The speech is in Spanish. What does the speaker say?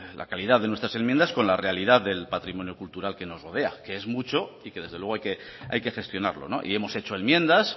la calidad de nuestras enmiendas con la realidad del patrimonio cultural que nos rodea que es mucho y que desde luego hay que gestionarlo y hemos hecho enmiendas